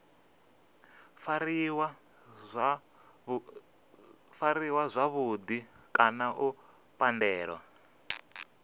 fariwa zwavhudi kana u pandelwa